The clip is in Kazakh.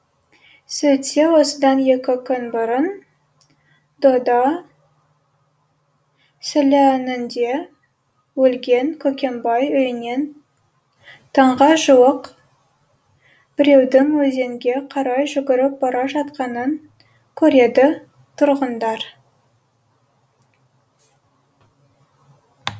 сөйтсе осыдан екі күн бұрын дода сіләнінде өлген көкембай үйінен таңға жуық біреудің өзенге қарай жүгіріп бара жатқанын көреді тұрғындар